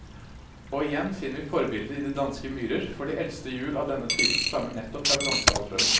Og igjen finner vi forbildet i de danske myrer, for de eldste hjul av denne type stammer nettopp fra bronsealderen.